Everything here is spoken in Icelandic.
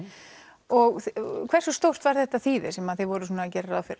og hversu stórt var þýðið sem þið voruð að gera ráð fyrir